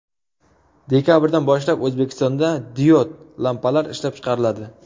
Dekabrdan boshlab O‘zbekistonda diod lampalar ishlab chiqariladi.